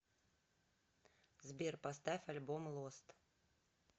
сбер поставь альбом лост